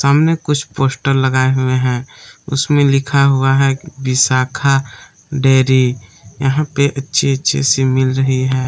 सामने कुछ पोस्टर लगाए हुए हैं उसमें लिखा हुआ है विशाखा डेयरी यहां पे अच्छे अच्छे से मिल रही है।